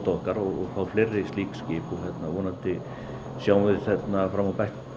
okkar og fá fleiri slík skip vonandi sjáum við fram á